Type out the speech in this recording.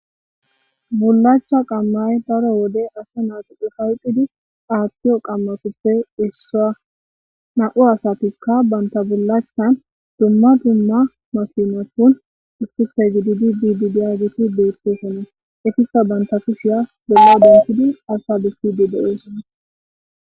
bulacha qammay daro wode asa naxupu falqidi aattiyo qammatuppe issaa na7u asatikka bantabullachan dumma dumma mafinatun issife gididi dididi ageti deettesonna efisa banta kushiya duma dentidi asa be sd de7eesonna